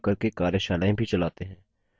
spoken tutorials का उपयोग करके कार्यशालाएँ भी चलाते हैं